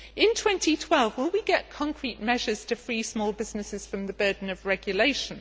In 2012 will we get concrete measures to free small businesses from the burden of regulation?